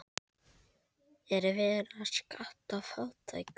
Er verið að skatta fátækt?